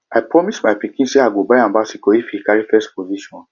i promise my pikin say i go buy am bicycle if he carry first position